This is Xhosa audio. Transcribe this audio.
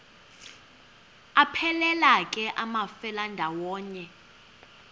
aphelela ke amafelandawonye